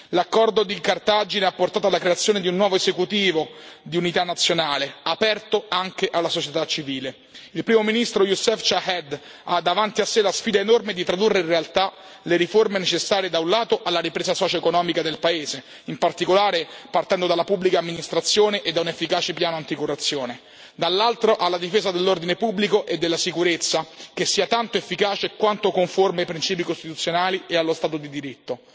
L'accordo di Cartagine ha portato alla creazione di un nuovo esecutivo di unità nazionale, aperto anche alla società civile. Il primo ministro Youssef Chahed ha davanti a sé la sfida enorme di tradurre in realtà le riforme necessarie da un lato alla ripresa socioeconomica del paese, in particolare partendo dalla pubblica amministrazione e da un efficace piano anticorruzione, e dall'altro alla difesa dell'ordine pubblico e della sicurezza, che sia tanto efficace quanto conforme ai principi costituzionali e allo Stato di diritto